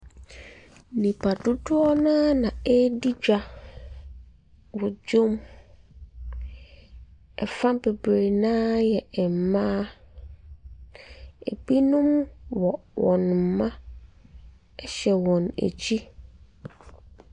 Nnipa dodoɔ no ara na redi dwa wɔ dwam. Ɛfa bebre no ara yɛ mmaa. Ebnom wɔ wɔn mma ɛhyɛ wɔn akyi.